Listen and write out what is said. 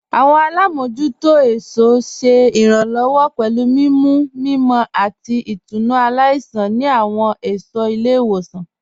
Awọn alámojútò ẹ̀ṣọ ṣé iránlọ́wọ́ pẹ̀lú mimú mímọ̀ àti ìtúnu aláìṣan ni awọn ẹṣọ ilẹ̀-iwosan.